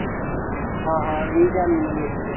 ਹਾਂ ਹਾਂ ਵੀਹ ਚਾਨਣੀਆਂ ਲਿਖਲੀਆਂ